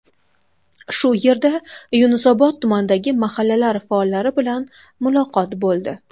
Shu yerda Yunusobod tumanidagi mahallalar faollari bilan muloqot bo‘ldi.